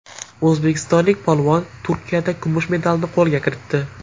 O‘zbekistonlik polvon Turkiyada kumush medalni qo‘lga kiritdi.